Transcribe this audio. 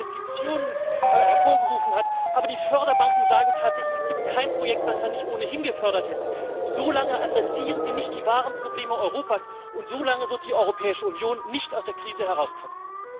EUR an Investitionen hervorgerufen hat, wobei die Förderbanken sagen, es gibt tatsächlich kein Projekt, was wir nicht ohnehin gefördert hätten solange adressieren Sie nicht die wahren Probleme Europas und so lange wird die Europäische Union nicht aus der Krise herauskommen.